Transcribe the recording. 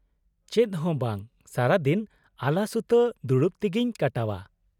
-ᱪᱮᱫ ᱦᱚᱸ ᱵᱟᱝ, ᱥᱟᱨᱟᱫᱤᱱ ᱟᱞᱟᱥᱩᱛᱟᱹ ᱫᱩᱲᱩᱵ ᱛᱤᱜᱤᱧ ᱠᱟᱴᱟᱣᱟ ᱾